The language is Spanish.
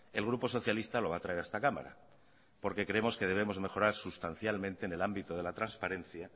el grupo socialista lo va a traer a esta cámara porque creemos que debemos mejorar sustancialmente en el ámbito de la transparencia